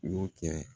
N y'o kɛ